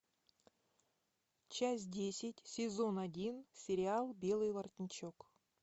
часть десять сезон один сериал белый воротничок